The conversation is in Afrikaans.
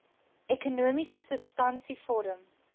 ekonomiese substansie vorm